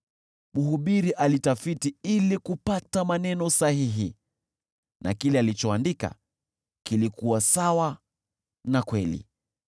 Mhubiri alitafiti ili kupata maneno sahihi na kila alichoandika kilikuwa sawa na kweli.